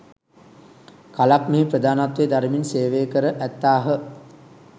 කලක් මෙහි ප්‍රධානත්වය දරමින් සේවය කර ඇත්තාහ.